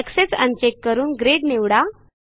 access uncheck करून grid निवडा